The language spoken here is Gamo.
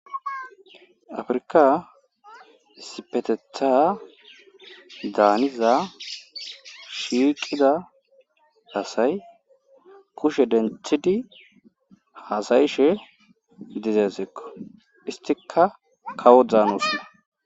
Afirkka issipetetha daaniza shiiqiza asay kushe denthidi haasayishe dizay desekko isttikka kawo dzaanoosona.